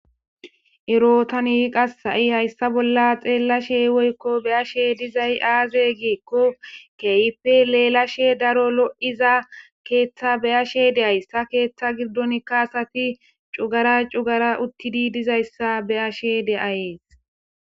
Erootan yi qassa7i hayssa bolla xeellashe woykko beyashe dizay aaze geekko keeype leelashe daro lo7iza keeththa beyashe deayssa keeththa girdonkka asati cugara cugara uttidi dizayssa beyashe deayees.